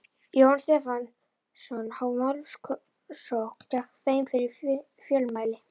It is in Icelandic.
Jóhann Stefánsson, hófu málsókn gegn þeim fyrir fjölmæli.